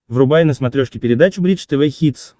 врубай на смотрешке передачу бридж тв хитс